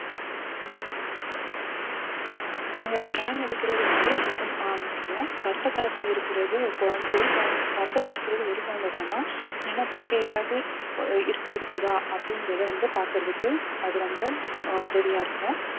நீங்க scan எடுக்குறது வந்து ரொம்பவும் ஆஹ் முக்கியம் கர்ப்ப காலத்துல இருக்குறது குழ~ ஒரு குழந்தை~ கர்ப்பத்துல இருக்குறது ஒரு குழந்தைதானா இல்லனா வேற ஏதாவது அஹ் இருக்~ இருக்குதா அப்படிங்கிறதை வந்து பாக்குறதுக்கு அது ரொம்ப ஆஹ் உதவியா இருக்கும்